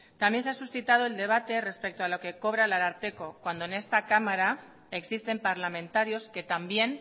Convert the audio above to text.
también se ha suscitado el debate respecto a lo que cobra el ararteko cuando en esta cámara existen parlamentarios que también